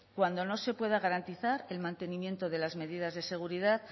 cuando no se pueda garantizar el mantenimiento de las medidas de seguridad